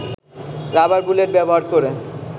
rubber bullet ব্যবহার করে